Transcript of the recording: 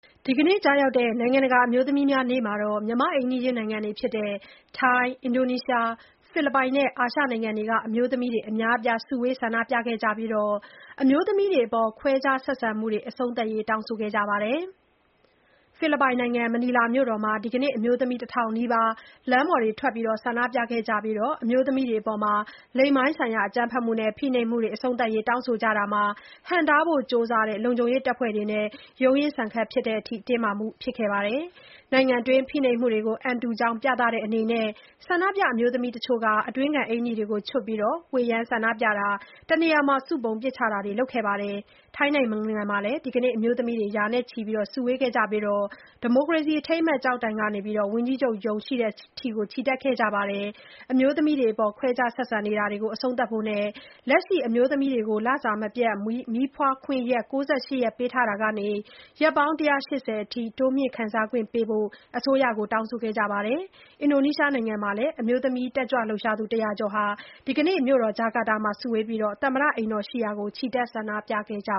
ဒီနေ့ ကျရောက်တဲ့ နိုင်ငံတကာ အမျိုးသမီးများနေ့မှာ မြန်မာ့အိမ်နီးချင်း ထိုင်း၊ အင်ဒိုနီးရှား၊ ဖိလစ်ပိုင် နဲ့ အာရှနိုင်ငံတွေက အမျိုးသမီးတွေ အများအပြား စုဝေး ဆန္ဒပြခဲ့ကြပြီး အမျိုးသမီးတွေအပေါ် ခွဲခြား ဆက်ဆံမှုတွေ အဆုံးသတ်ရေး တောင်းဆိုခဲ့ကြပါတယ်။ ဖိလစ်ပိုင်နိုင်ငံ မနီလာမြို့တော်မှာ ဒီကနေ့ အမျိုးသမီး ၁ ထောင်နီးပါး လမ်းပေါ်ထွက် ဆန္ဒပြခဲ့ကြပြီး အမျိုးသမီးတွေအပေါ် လိင်ပိုင်းဆိုင်ရာ အကြမ်းဖက်မှုတွေနဲ့ ဖိနှိပ်မှုတွေ အဆုံးသတ်ရေး တောင်းဆိုကြတာမှာ ဟန့်တားဖို့ ကြိုးစားတဲ့ လုံခြုံရေးတပ်ဖွဲ့တွေနဲ့ ရုန်းရင်းဆန်ခတ် ဖြစ်တဲ့အထိ တင်းမာမှုတွေ ရှိခဲ့ပါတယ်။ နိုင်ငံတွင်း ဖိနှိပ်မှုတွေကို အံတုကြောင်း ပြသတဲ့အနေနဲ့ ဆန္ဒပြ အမျိုးသမီးတချို့က အတွင်းခံ အင်္ကျီတွေကို ချွတ်ပြီး ဝှေ့ယမ်း ဆန္ဒပြတာ၊ တနေရာမှာ စုပုံ ပစ်ချတာတွေ လုပ်ခဲ့ကြပါတယ်။ ထိုင်းနိုင်ငံမှာလည်း ဒီကနေ့ အမျိုးသမီးတွေ ရာနဲ့ချီ စုဝေးခဲ့ကြပြီး ဒီမိုကရေစီ အထိမ်းအမှတ် ကျောက်တိုင်ကနေ ဝန်ကြီးချုပ်ရုံးရှိရာကို ချီတက်ခဲ့ကြပါတယ်။ အမျိုးသမီးတွေအပေါ် ခွဲခြား ဆက်ဆံနေတာတွေ အဆုံးသတ်ဖို့နဲ့ လက်ရှိ အမျိုးသမီးတွေကို လစာမပြတ် မီးဖွားခွင့်ရက် ၉၈ ရက်ပေးထားတာကနေ ရက်ပေါင်း ၁၈၀ အထိ တိုးမြှင့် ခံစားခွင့်ပေးဖို့ အစိုးရကို တောင်းဆိုခဲ့ကြပါတယ်။ အင်ဒိုနီးရှား နိုင်ငံမှာလည်း အမျိုးသမီး တက်ကြွလှုပ်ရှားသူ ၁၀၀ ကျော် ဒီကနေ့ မြို့တော် ဂျကာတာမှာ စုဝေးပြီး သမ္မတအိမ်တော် ရှိရာကို ချီတက် ဆန္ဒပြကြ